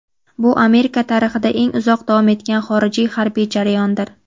Bu Amerika tarixida eng uzoq davom etgan xorijiy harbiy jarayondir.